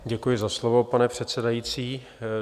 Děkuji za slovo, pane předsedající.